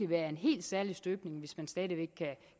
være af en helt særlig støbning hvis man stadig væk